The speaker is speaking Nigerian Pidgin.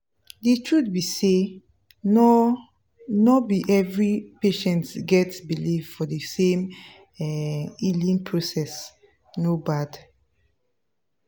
the truth be say no no be every patients get believe for the same um healing processe no bad.